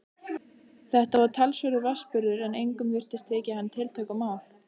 Þetta var talsverður vatnsburður en engum virtist þykja hann tiltökumál.